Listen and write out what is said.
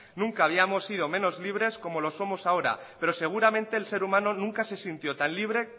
nunca habíamos sido menos libres como lo somos ahora pero seguramente el ser humano nunca se sintió tan libre